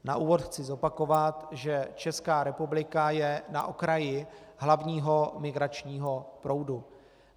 Na úvod chci zopakovat, že Česká republika je na okraji hlavního migračního proudu.